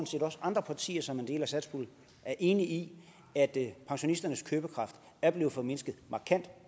set også at andre partier som er en del af satspuljen er enige i at pensionisternes købekraft er blevet formindsket markant